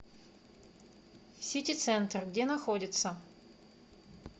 сити центр где находится